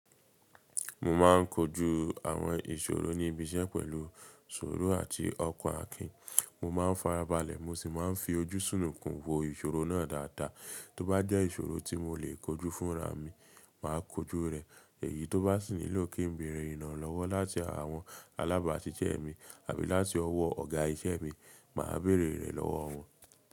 Mo ma ń kojú àwọn ìṣòro ní ibi iṣẹ́ pẹ̀lú suuru àti ọkan akìn. Mo máa ń farabalẹ̀, mo sì máa ń fi ojú sùnukún wo ìṣòro náà dáadáa. Tó bá jẹ́ ìṣòro tí mo lè kojú fúnra mi, màá kojú rẹ̀. Èyí tó bá sì nílò kí ń bèrè ìrànlọ́wọ́ láti àwọn alábaáṣisé mi àbí láti ọwọ́ ọ̀gá iṣẹ́ mi, màá bèrè rẹ̀ lọ́wọ́ wọn.